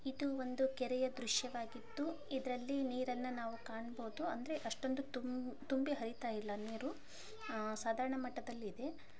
ಇದು ಒಂದು ಕೆರೆಯ ದೃಶ್ ವಾಗಿದ್ದು ಇದರಲ್ಲಿ ನೀರನ್ನು ನಾವು ಕಾಣಬಹುದು ಅಷ್ಟೊಂದು ತುಂಬಿ ಹರಿತಾಇಲ್ಲ ನೀರು.